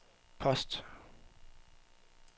post